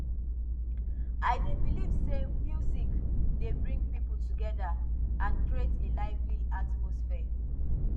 i dey believe say music dey bring people together and create a lively atmosphere